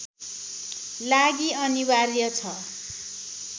लागि अनिवार्य छ